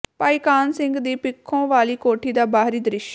ਭਾਈ ਕਾਨ੍ਹ ਸਿੰਘ ਦੀ ਪਿੱਥੋ ਵਾਲੀ ਕੋਠੀ ਦਾ ਬਾਹਰੀ ਦ੍ਰਿਸ਼